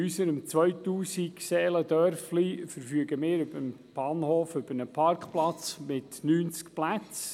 In unserem 2000-Seelen-Dörfchen verfügen wir beim Bahnhof über einen Parkplatz mit 90 Plätzen.